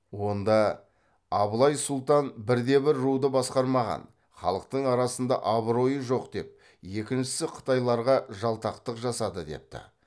онда абылай сұлтан бірде бір руды басқармаған халықтың арасында абыройы жоқ деп екіншісі қытайларға жалтақтық жасады депті